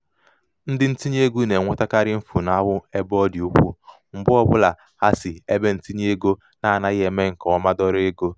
ndi ntinyeego na-enwetakarị mfulahụ ebe ọ dị ukwu mgbe ọbụla ha si n'ebentinyeego na-anaghị eme nke ọma dọrọ ego.